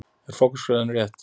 Er forgangsröðunin rétt?